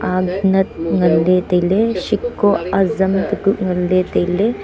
ag nat ngan ley tai ley sheko azam teku ngan ley tai ley.